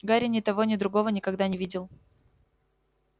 гарри ни того ни другого никогда не видел